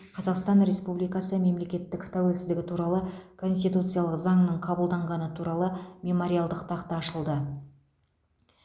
қазақстан республикасы мемлекеттік тәуелсіздігі туралы конституциялық заңның қабылданғаны туралы мемориалдық тақта ашылды